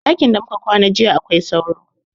Ɗakin da muka kwana jiya akwai sauro